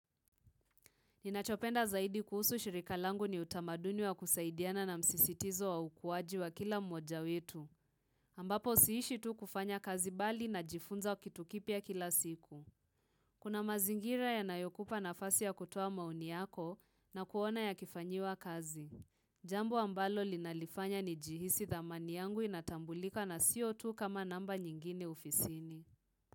Ninachopenda zaidi kuhusu shirika langu ni utamaduni wa kusaidiana na msisitizo wa ukuwaji wa kila mmoja wetu. Ambapo siishi tu kufanya kazi bali n jifunza wa kitu kipya kila siku. Kuna mazingira yanayokupa nafasi ya kutoa maoni yako na kuona yakifanyiwa kazi. Jambo ambalo linalifanya nijihisi thamani yangu inatambulika na sio tu kama namba nyingine ofisini.